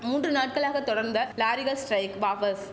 மூன்று நாட்களாக தொடர்ந்த லாரிகள் ஸ்டிரைக் வாவஸ்